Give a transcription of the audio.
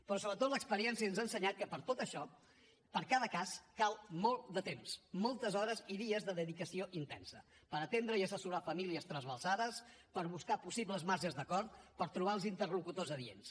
però sobretot l’experiència ens ha ensenyat que per a tot això per a cada cas cal molt de temps moltes hores i dies de dedicació intensa per atendre i assessorar famílies trasbalsades per buscar possibles marges d’acord per trobar els interlocutors adients